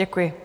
Děkuji.